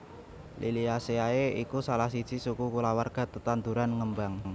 Liliaceae iku salah siji suku kulawarga tetanduran ngembang